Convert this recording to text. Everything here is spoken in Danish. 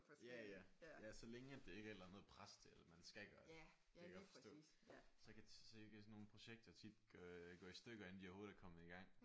Ja ja ja så længe at det ikke er et eller andet pres til at man skal gøre det det kan jeg godt forstå så kan sådan nogle projekter tit øh gå i stykker inden de overhovedet er kommet i gang